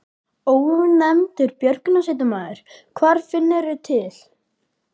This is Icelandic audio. Ónefndur björgunarsveitarmaður: Hvar finnurðu til?